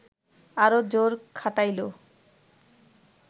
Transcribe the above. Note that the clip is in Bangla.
আরও জোর খাটাইল